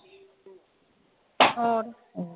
ਹੋਰ